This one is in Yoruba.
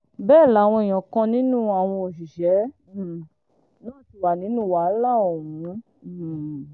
bẹ́ẹ̀ làwọn èèyàn kan nínú àwọn òṣìṣẹ́ um náà ti wà nínú wàhálà ọ̀hún um